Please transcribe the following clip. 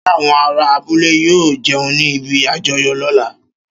Ṣé àwọn ará abúlé yóò jẹun ní ibi àjọyọ̀ lóla?